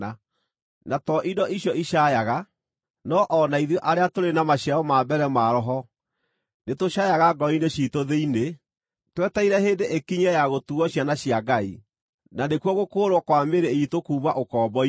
Na to indo icio icaayaga, no o na ithuĩ arĩa tũrĩ na maciaro ma mbere ma Roho, nĩtũcaayaga ngoro-inĩ ciitũ thĩinĩ, twetereire hĩndĩ ĩkinye ya gũtuuo ciana cia Ngai, na nĩkuo gũkũũrwo kwa mĩĩrĩ iitũ kuuma ũkombo-inĩ.